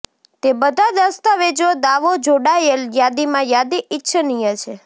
તે બધા દસ્તાવેજો દાવો જોડાયેલ યાદીમાં યાદી ઇચ્છનીય છે